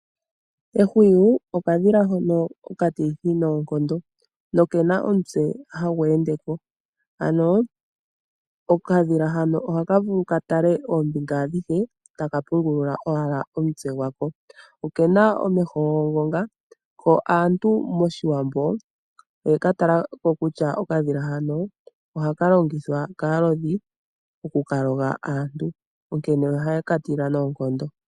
Ehwiyu okadhila hono nokalithi noonkondo nokena omutse hagu ende ko ano okadhila hano oha ka vulu ka tale oombinga adhihe taka pungulula owala omutse gwako okena omeho okena omeho omatithi yo aantu mOshiwambo okadhila hano oyeka tala ko kutya ohaka longitha kaalodhi okuka loga aantu onkee ohaye ka tila noonkondo.